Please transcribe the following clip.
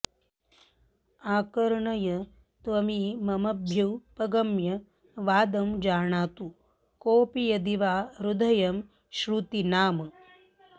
आकर्णय त्वमिममभ्युपगम्य वादं जानातु कोऽपि यदि वा हृदयं श्रुतीनाम्